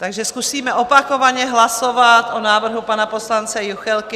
Takže zkusíme opakovaně hlasovat o návrhu pana poslance Juchelky.